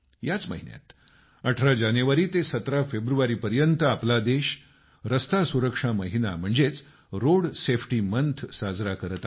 याच महिन्यात 18 जानेवारी ते 17 फेब्रुवारी पर्यंत आपला देश रस्ते सुरक्षा महिना म्हणजेच रोड सेफ्टी मंथ साजरा करत आहे